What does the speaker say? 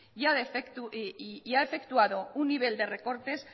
y ha efectuado un nivel de recortes